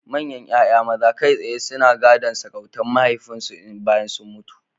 Manyan ‘ya’yan maza kai tsaye suna gadon sarautar mahaifinsu bayan sun mutu.